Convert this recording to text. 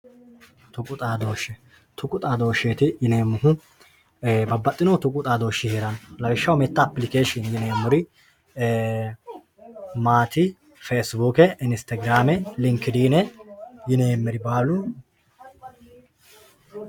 tuqu xaadooshshe tuqu xaadooshsheeti yineemmohu babbaxxino tuqu xaadooshshi heeranno lawishshaho tenne apilikeeshiini yineemmori feesibuuke Instagrame linkidiine yineemmeri baalu